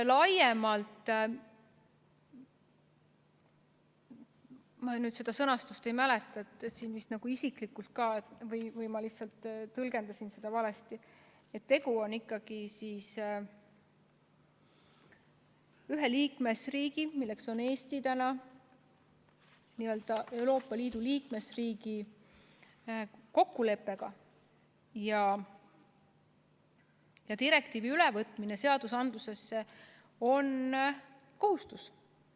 Ma seda sõnastust ei mäleta ja võib-olla ma lihtsalt tõlgendasin midagi valesti, aga tegu on ikkagi ühe liikmesriigi, Eesti kui Euroopa Liidu liikmesriigi kokkuleppega ja direktiivi ülevõtmine on kohustus.